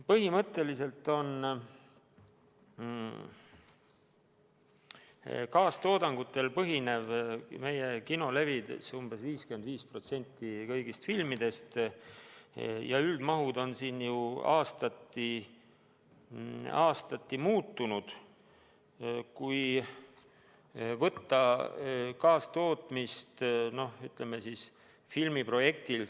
Põhimõtteliselt on meie kinolevis umbes 55% kõigist filmidest kaastoodangul põhinevad ja üldmahud on siin aastati muutunud.